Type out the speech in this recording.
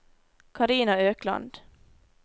Karina Økland